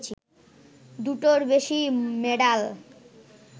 দুটোর বেশি মেডাল